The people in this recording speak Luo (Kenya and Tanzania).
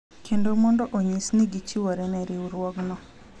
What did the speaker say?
Kendo mondo onyis ni gichiwore ne riwruogno.